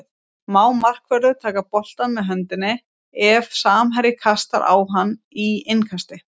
Má markvörður taka boltann með höndum ef samherji kastar á hann í innkasti?